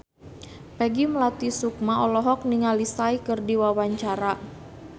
Peggy Melati Sukma olohok ningali Psy keur diwawancara